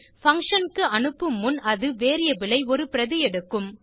function க்கு அனுப்பும் முன் அது வேரியபிள் ஐ ஒரு பிரதி எடுக்கும்